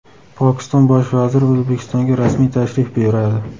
Pokiston Bosh vaziri O‘zbekistonga rasmiy tashrif buyuradi.